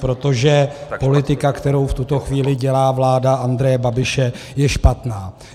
Protože politika, kterou v tuto chvíli dělá vláda Andreje Babiše, je špatná.